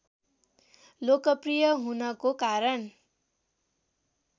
लोकप्रिय हुनको कारण